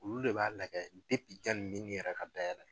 Olu de b'a kɛ jani n yɛrɛ ka da yɛ